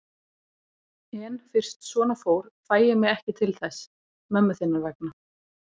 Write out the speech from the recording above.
En fyrst svona fór fæ ég mig ekki til þess. mömmu þinnar vegna.